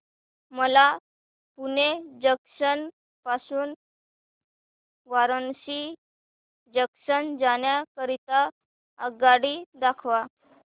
मला पुणे जंक्शन पासून वाराणसी जंक्शन जाण्या करीता आगगाडी दाखवा